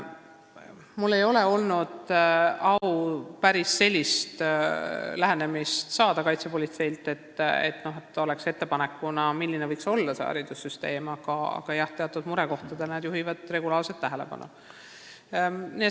Mul ei ole olnud au kuulda kaitsepolitseilt päris sellist lähenemist, et oleks tehtud ettepanek, milline võiks haridussüsteem olla, aga jah, teatud murekohtadele juhivad nad regulaarselt tähelepanu.